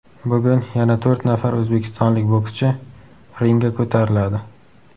Bugun yana to‘rt nafar o‘zbekistonlik bokschi ringga ko‘tariladi.